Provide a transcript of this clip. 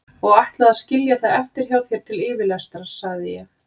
Og ætlaði að skilja það eftir hjá þér til yfirlestrar, sagði ég.